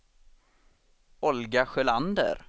Olga Sjölander